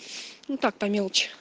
ну так по мелочи